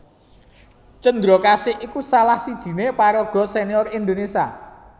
Cendrakasih iku salah sijiné paraga sénior Indonésia